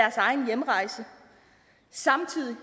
egen hjemrejse samtidig